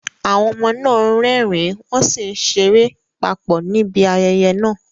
Àwọn ọmọ náà ń rẹ́rìn-ín wọ́n sì ń ṣeré papọ̀ níbi ayẹyẹ náà.